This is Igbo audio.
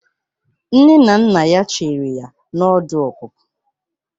Nne na nna ya chere ya na ọdụ ọpụpụ.